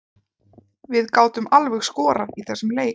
Við gátum alveg skorað í þessum leik.